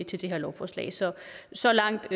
til det her lovforslag så så langt